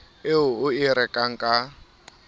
eo o e rekang ka